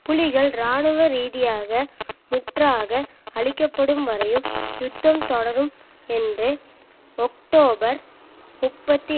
புலிகள் இராணுவ ரீதியாக முற்றாக அழிக்க படும் வரையும் யுத்தம் தொடரும் என்று ஒக்டோபர் முப்பத்தி